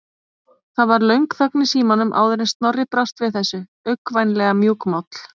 Það varð löng þögn í símanum áður en Snorri brást við þessu, uggvænlega mjúkmáll.